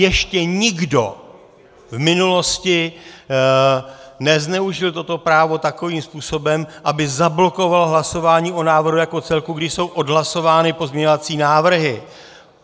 Ještě nikdo v minulosti nezneužil toto právo takovým způsobem, aby zablokoval hlasování o návrhu jako celku, když jsou odhlasovány pozměňovací návrhy.